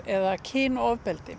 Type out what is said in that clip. eða